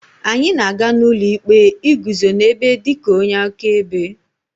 anyị na-aga n'ụlọ ikpe iguzo n'ebe dị ka onye akaebe